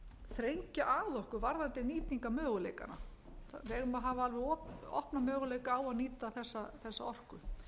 þrengja að okkur varðandi nýtingarmöguleikana við eigum að hafa alveg opna möguleika á að ára þessa orku